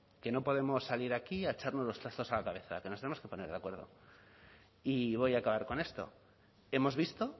que no podemos salir aquí a echarnos los trastos a la cabeza que nos tenemos que poner de acuerdo y voy a acabar con esto hemos visto